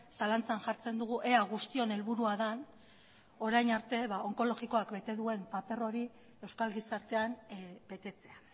zalantzan jartzen dugu ea guztion helburua den orain arte onkologikoak bete duen paper hori euskal gizartean betetzea